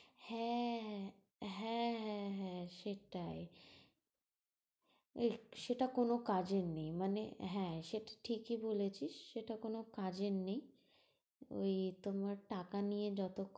হ্যাঁ হ্যাঁ হ্যাঁ হ্যাঁ হ্যাঁ সেটাই। এই সেটা কোন কাজের নেই মানে হ্যাঁ সেটা ঠিকই বলেছিস সেটা কোন কাজের নেই। ঐ তোমার টাকা নিয়ে যত